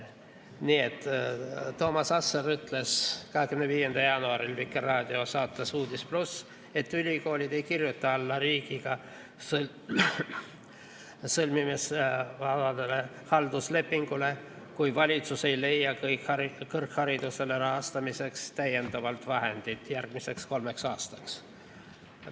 Nii et Toomas Asser ütles 25. jaanuaril Vikerraadio saates "Uudis+", et ülikoolid ei kirjuta alla riigiga sõlmitavale halduslepingule, kui valitsus ei leia kõrghariduse rahastamiseks täiendavalt vahendeid järgmiseks kolmeks aastaks.